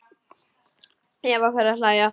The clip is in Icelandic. Eva fer að hlæja.